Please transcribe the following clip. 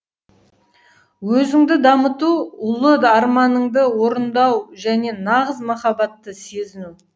өзіңді дамыту ұлы арманыңды орындау және нағыз махаббатты сезіну